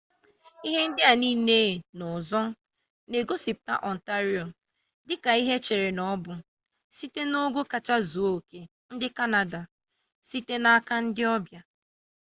ihe ndị a niile na ọzọ na-egosipụta ọntario dị ka ihe echere na ọ bụ site n'ogo kachasị zuo oke ndị kanada site n'aka ndị ọbịa